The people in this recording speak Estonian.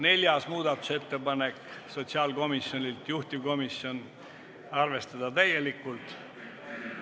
Neljas muudatusettepanek on sotsiaalkomisjonilt, juhtivkomisjon on arvestanud täielikult.